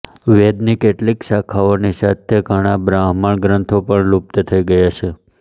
વેદની કેટલીય શાખાઓની સાથે ઘણાં બ્રાહ્મણગ્રંથો પણ લુપ્ત થઈ ગયા છે